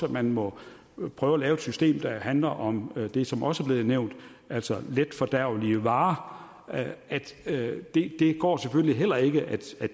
at man må prøve at lave et system der handler om det som også er blevet nævnt altså letfordærvelige varer det går selvfølgelig heller ikke at